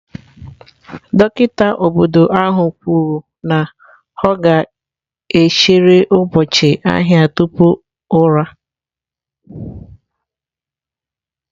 Dọkịta obodo ahụ kwuru na ọ ga-echere ụbọchị ahịa tupu ụra.